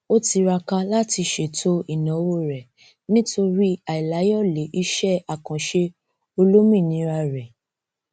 o tiraka látí ṣètò ìnáwó rẹ nitori àìláyọlé iṣẹ àkànṣe olómìnira rẹ